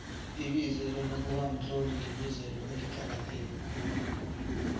ibizelo lokubamtloli libizelo eliqakahteke khulu